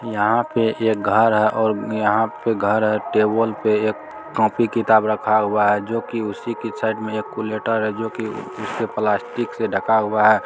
यहाँ पे एक घर है और यहाँ पे घर है टेबल पे एक कॉपी किताब रखा हुआ है जो कि उसी की साइड में एक कैलकुलेटर है जो की उसके प्लास्टिक से ढका हुआ है।